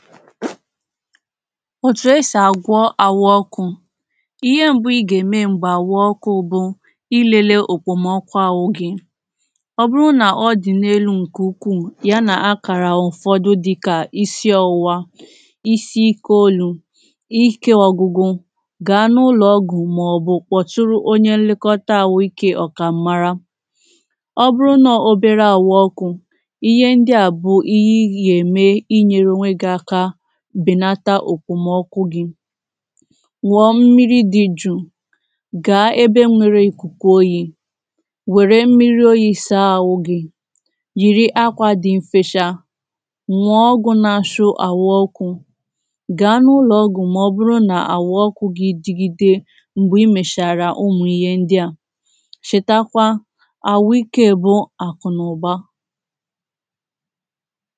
òtù esì àgwọ àhu ọkụ̄ ihe m̀bụ ị gà-ème m̀gbè àhu ọkụ̄ bụ ilele òkpòmọkụ̄ àhu gị ọbụrụ nà-ọdì n’elu ǹke ukwuu, ya nà akàrà ụ̀fọdụ dikà isi ọwụwa isi ikē olu ikē ọgwụgwụ ga n’ ụlọ̀ ọgwụ̀ mà ọ̀bụ̀ kpọ̀tụrụ onye nlekọta àhu ikē ọ̀kà mara ọbụrụ nọ obēre àhu ọkụ̄ ihe ndi à bụ̀ ihe ịgà-ème inyeru ònwe gị aka bènata òkpòmọkụ̄ gị ṅụ̀ọ mmiri di juu gàá ébé ŋ́ʷéré ìkùkù ójí wère mmiri oyi sàa àhu gị yìri akwà dị mfecha ṅụ̀ọ ọgwù nà-achụ àhu ọkụ̄ gàa n’ụlọ̀ ọgwù mà ọbụrụ n’àhu ọkụ̄ gị dịgide m̀gbè imèchàrà ụmụ̀ ihe ndià chèta kwa àhu ikē bụ àkụ̀ n’ụ̀baa